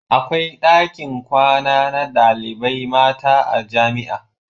Akwai dakin kwana na ɗalibai mata a jamia